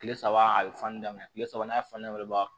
Kile saba a bɛ fani daminɛ kile saba n'a fan ne ba